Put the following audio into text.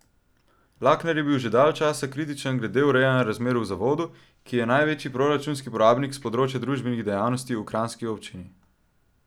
Lakner je bil že dalj časa kritičen glede urejanja razmer v zavodu, ki je največji proračunski porabnik s področja družbenih dejavnosti v kranjski občini.